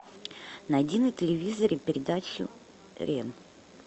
найди на телевизоре передачу рен